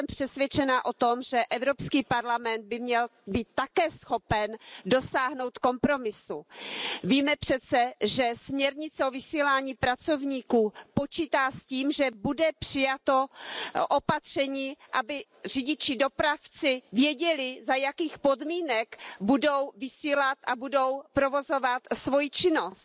Já jsem přesvědčena o tom, že Evropský parlament by měl být také schopen dosáhnout kompromisu. Víme přece, že směrnice o vysílání pracovníků počítá s tím, že bude přijato opatření, aby řidiči i dopravci věděli, za jakých podmínek budou vysílat a budou provozovat svoji činnost.